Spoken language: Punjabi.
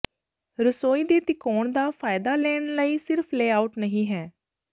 ਰਸੋਈ ਦੇ ਤਿਕੋਣ ਦਾ ਫਾਇਦਾ ਲੈਣ ਲਈ ਸਿਰਫ ਲੇਆਉਟ ਨਹੀਂ ਹੈ